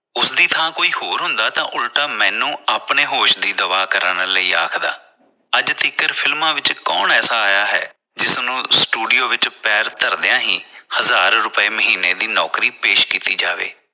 ਉਸਦੀ ਥਾਂ ਕੋਈ ਹੋਰ ਹੁੰਦਾ ਤਾਂ ਉਲਟਾ ਮੈਨੂੰ ਆਪਣੇ ਹੋਸ਼ ਦੀ ਦਵਾ ਕਰਾਉਣ ਲਈ ਆਖਦਾ ਅੱਜ ਤੀਕਰ ਫਿਲਮਾਂ ਵਿਚ ਕੌਣ ਐਸਾ ਆਇਆ ਹੈ ਜਿਸਨੂੰ studio ਵਿਚ ਪੈਰ ਧਰਦਿਆ ਹੀ ਹਜਾਰ ਰੁਪਏ ਮਹੀਨੇ ਦੀ ਨੌਕਰੀ ਪੇਸ਼ ਕੀਤਾ ਜਾਵੇ।